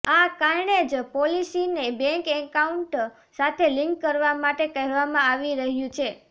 આ કારણે જ પોલિસીને બેંક એકાઉન્ટ સાથે લિંક કરવા માટે કહેવામાં આવી રહ્યું છે